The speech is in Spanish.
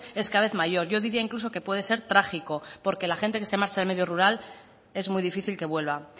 es cada vez mayor yo diría incluso que puede ser trágico porque la gente que se marcha del medio rural es muy difícil que vuelva